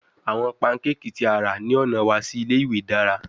Awọn pancakes ti a ra ni ọna wa si ile-iwe dara